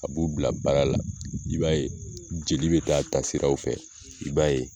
A b'u bila baara la i b'a ye jeli bɛ taa taasiraw fɛ i b'a ye.